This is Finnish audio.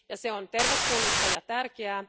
Se on tervetullutta ja tärkeää.